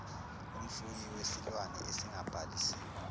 umfuyi wesilwane esingabhalisiwe